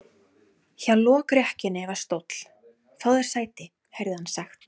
Hjá lokrekkjunni var stóll:-Fáðu þér sæti, heyrði hann sagt.